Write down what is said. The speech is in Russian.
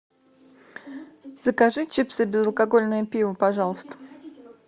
закажи чипсы и безалкогольное пиво пожалуйста